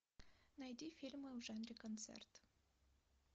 найди фильмы в жанре концерт